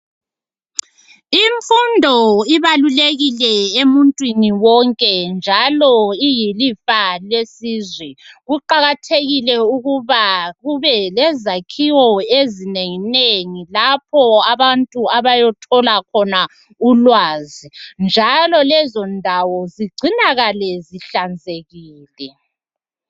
Imfundo ibalulekile emuntwini wonke, njalo iyilifa lesizwe. Kuqakathekile ukuba kube lezakhiwo ezinenginengi lapho abantu abayothola khona ulwazi, njalo lezo ndawo zigcinakale zihlanzekile.